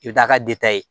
I bɛ taa ka ye